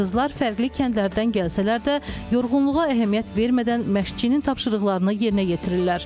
Qızlar fərqli kəndlərdən gəlsələr də, yorğunluğa əhəmiyyət vermədən məşqçinin tapşırıqlarını yerinə yetirirlər.